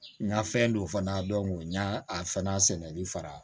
N ka fɛn don fana n ɲa a fana sɛnɛli fara